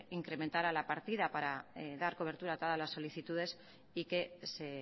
incrementara la partida para dar cobertura a todas las solicitudes y que se